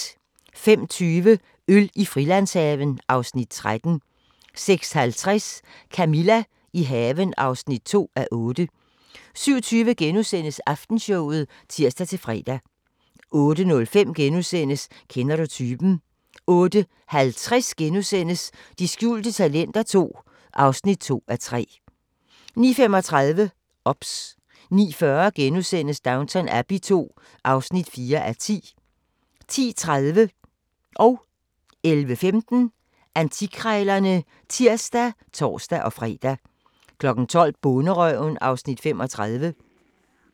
05:20: Øl i Frilandshaven (Afs. 13) 06:50: Camilla – i haven (2:8) 07:20: Aftenshowet *(tir-fre) 08:05: Kender du typen? * 08:50: De skjulte talenter II (2:3)* 09:35: OBS 09:40: Downton Abbey II (4:10)* 10:30: Antikkrejlerne (tir og tor-fre) 11:15: Antikkrejlerne (tir og tor-fre) 12:00: Bonderøven (Afs. 35)